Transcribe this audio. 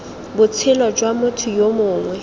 botshelo jwa motho yo mongwe